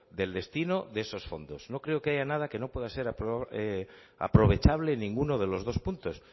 del destino de esos fondos no creo que haya nada que no pueda ser aprovechable en ninguno de los dos puntos